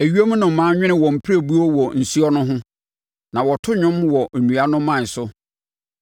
Ewiem nnomaa nwene wɔn pirebuo wɔ nsuo no ho; na wɔto nnwom wɔ nnua no mman so.